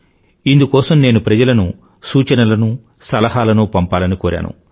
ఇందుకోసం నేను ప్రజలను ఇన్పుట్ లనూ ఐడియాలను పంపాలని కోరాను